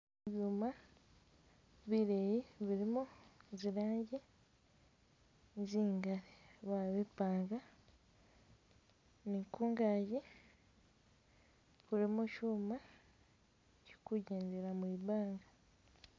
Ibyuma bileyi bilimo zilangi zingali babipanga ni kungaji kulimo shuma kili kujendela mwibanga.